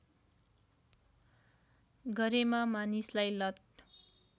गरेमा मानिसलाई लत